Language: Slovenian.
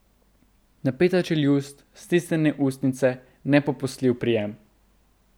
Napeta čeljust, stisnjene ustnice in nepopustljiv prijem.